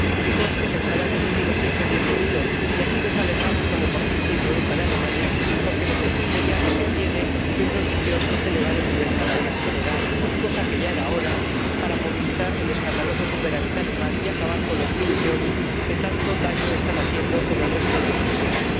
Y que conste que el salario mínimo es siempre bienvenido y que nos alegramos cuando por fin se introdujo en Alemania, porque el efecto inmediato que tiene su introducción es elevar el nivel salarial general —que ya era hora— para movilizar el escandaloso superávit alemán y acabar con los minijobs que tanto daño están haciendo en el resto de los Estados.